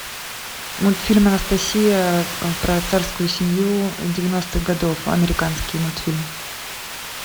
мультфильм анастасия про царскую семью девяностых годов американский мультфильм